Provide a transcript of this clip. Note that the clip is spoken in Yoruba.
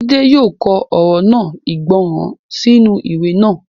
Jídé yóò kọ ọ̀rọ̀ náà ìgbọràn sínú ìwé náà